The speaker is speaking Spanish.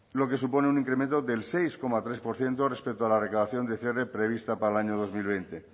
lo que supone un incremento del seis coma tres por ciento respecto a la recaudación dcr prevista para el año dos mil veinte